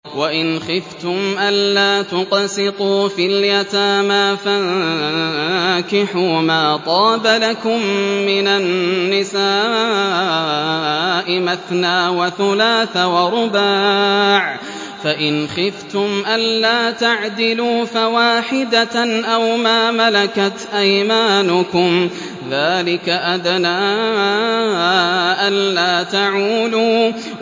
وَإِنْ خِفْتُمْ أَلَّا تُقْسِطُوا فِي الْيَتَامَىٰ فَانكِحُوا مَا طَابَ لَكُم مِّنَ النِّسَاءِ مَثْنَىٰ وَثُلَاثَ وَرُبَاعَ ۖ فَإِنْ خِفْتُمْ أَلَّا تَعْدِلُوا فَوَاحِدَةً أَوْ مَا مَلَكَتْ أَيْمَانُكُمْ ۚ ذَٰلِكَ أَدْنَىٰ أَلَّا تَعُولُوا